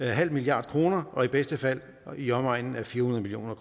halv milliard kroner og i bedste fald i omegnen af fire hundrede million